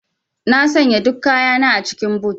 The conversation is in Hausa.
Na sanya duk kayana a cikin boot.